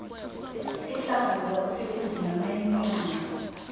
iinhlangano zabasebenzi namayuniyoni